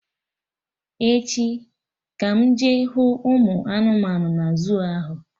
Echi ka m jee hụ ụmụ anụmanụ na zuu ahụ